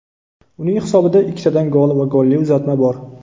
Uning hisobida ikkitadan gol va golli uzatma bor.